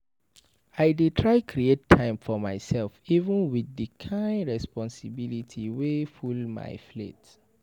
I dey try create time for myself even wit di kain responsibilities wey full my plate.